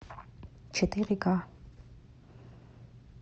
четыре ка